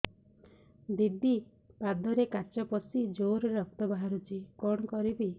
ଦିଦି ପାଦରେ କାଚ ପଶି ଜୋରରେ ରକ୍ତ ବାହାରୁଛି କଣ କରିଵି